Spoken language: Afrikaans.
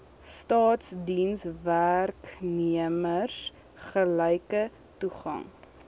staatsdienswerknemers gelyke toegang